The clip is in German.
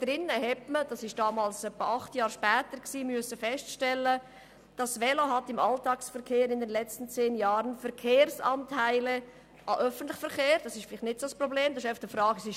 Dort hat man feststellen müssen, dass das Velo «im Alltagsverkehr in den letzten zehn Jahren Verkehrsanteile sowohl an den öffentlichen Verkehr als auch an den motorisierten Individualverkehr verloren» hat.